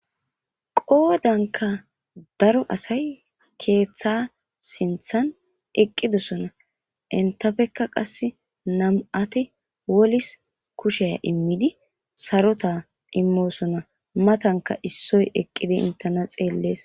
Qoodanka daro asay keeththa sinthan eqqidosona. Intafekka qass nam7ati wolis kushiya immidi sarota immoosona. Matanka issoy eqqidi intena xeellees.